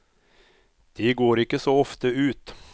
De går ikke så ofte ut.